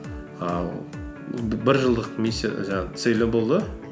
ііі бір жылдық жаңағы целі болды